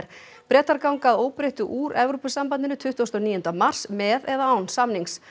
Bretar ganga að óbreyttu úr Evrópusambandinu tuttugasta og níunda mars með eða án samnings